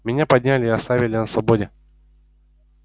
меня подняли и оставили на свободе